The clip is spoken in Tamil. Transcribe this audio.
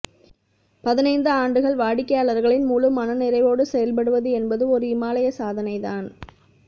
பதினைந்து ஆண்டுகள் வாடிக்கையாளர்களின் முழு மன நிறைவோடு செயல்படுவது என்பது ஓர் இமாலய சாதனை தான்